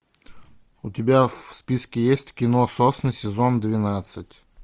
у тебя в списке есть кино сосны сезон двенадцать